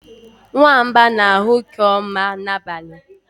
nwamba na-ahụ nke ọma n'abalị